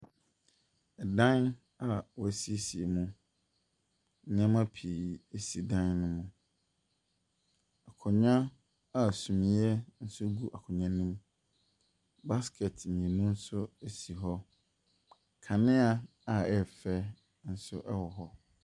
Dan a wɔasiesie mu. Nneɛma pii si dan no mu. Akonnwa a sumiiɛ nso gu akonnwa no mu. Basket mmienu nso si hɔ. Kanea a ɛyɛ fɛ nso wɔ hɔ.